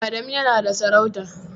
Adamu yana da sarauta.